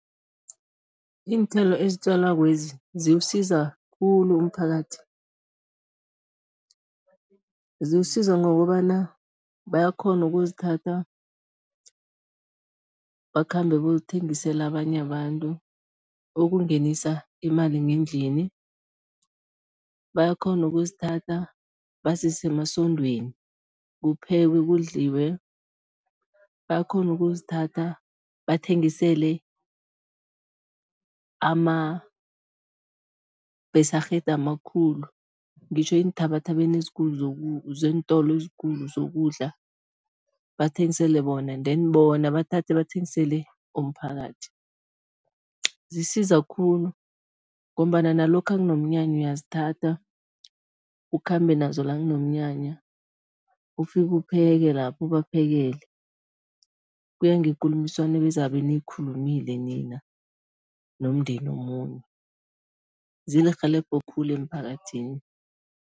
Iinthelo ezitjalwakezi ziwusiza khulu umphakathi. Ziwusiza ngokobana bayakghona ukuzithatha, bakhambe boyothengisela abanye abantu ukungenisa imali ngendlini, bayakghona ukuzithatha bazise emasondweni kuphekwe kudliwe, bayakghona ukuzithatha bathengisele ama-besigheid amakhulu, ngitjho eenthabathabeni ezikulu zeentolo ezikulu zokudla, bathengisele bona, then bona bathathe bathengisele umphakathi. Zisiza khulu ngombana nalokha kunomnyanya uyazithathatha, ukhambe nazo la kunomnyanya, ufike upheke lapha, ubaphekele, kuya ngekulumiswano ebezabe niyikhulumile nina nomdeni zilirhelebho khulu emphakathini.